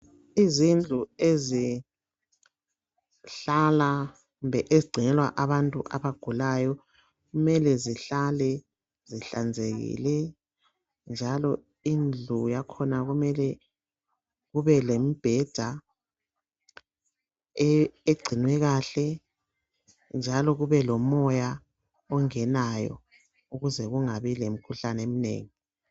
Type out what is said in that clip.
Izindlu ezihlala kumbe ezigcinelwa abantu abagulayo .Kumele zihlale zihlanzekile njalo indlu yakhona kumele kube lembheda egcinwe kahle. Njalo kube lomoya ongenayo ukuze kungabi lemikhuhlane eminengi .